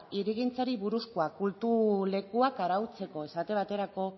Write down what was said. hirigintzari buruzkoa kultu lekuak arautzeko esate baterako